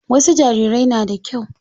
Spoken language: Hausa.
Wasu jarirai na da kyau.